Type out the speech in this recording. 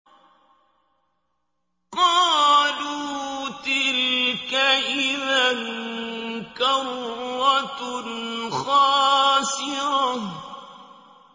قَالُوا تِلْكَ إِذًا كَرَّةٌ خَاسِرَةٌ